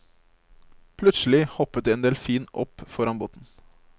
Plutselig hoppet en delfin opp foran båten.